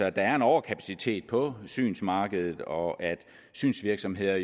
at der er en overkapacitet på synsmarkedet og at synsvirksomheder